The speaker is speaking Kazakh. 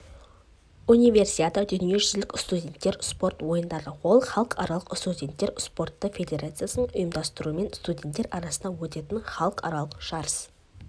универсиада дүниежүзілік студенттік спорт ойындары ол халықаралық студенттер спорты федерациясының ұйымдастыруымен студенттер арасында өтетін халықаралық жарыс